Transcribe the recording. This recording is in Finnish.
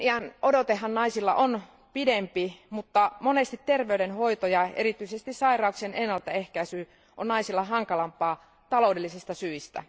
Eliniänodotehan naisilla on pidempi, mutta monesti terveydenhoito ja erityisesti sairauksien ennaltaehkäisy on naisille hankalampaa taloudellisista syistä.